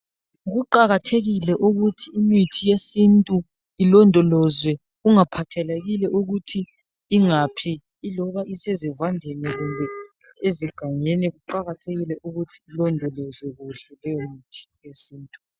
Kuqakathekile ukuthi imithi yesintu ilondolozwe kungaphathelekile ukuthi ingaphi iloba isezivandeni kumbe ezigangeni kuqakathekile ukuthi ilondolozwe kuhle leyo mithi yesintu.